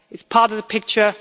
It is part of the picture.